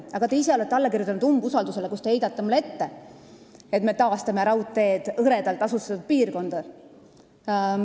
Aga te ise olete alla kirjutanud umbusaldusavaldusele, kus te heidate mulle ette, et me taastame raudteed hõredalt asustatud piirkonnas.